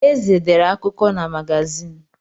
Eze dere akụkọ na magazin.